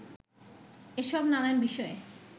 এসব নানান বিষয়ে